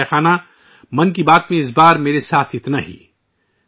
میرے پریوار جنو ، 'من کی بات ' میں ، اِس وقت اتنا ہی